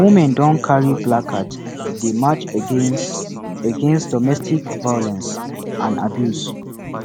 women don carry placard dey march against against domestic violence and abuse